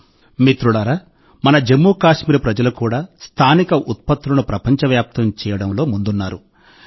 మిత్రులారా మన జమ్మూ కశ్మీర్ ప్రజలు కూడా స్థానిక ఉత్పత్తులను ప్రపంచవ్యాప్తం చేయడంలో వెనుకబడి లేరు